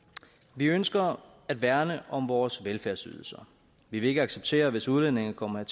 vi ønsker at værne om vores velfærdsydelser vi vil ikke acceptere hvis udlændinge kommer